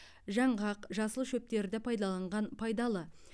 жаңғақ жасыл шөптерді пайдаланған пайдалы